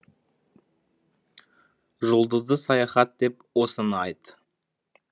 жұлдызды саяхат деп осыны айт